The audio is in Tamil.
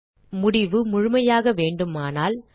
ஆனால் முடிவு முழுமையாக வேண்டுமானால்